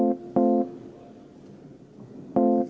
Meil seisab ees hääletus.